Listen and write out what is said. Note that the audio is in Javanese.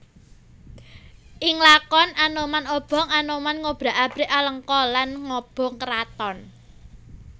Ing lakon Anoman Obong Anoman ngobrak abrik Alengka lan ngobong kraton